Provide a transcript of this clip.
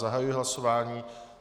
Zahajuji hlasování.